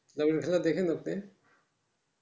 না মানে খেলা দেখান আপনি